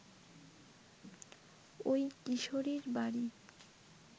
ওই কিশোরীর বাড়ি